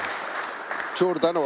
Suur tänu!